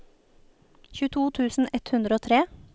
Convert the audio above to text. tjueto tusen ett hundre og tre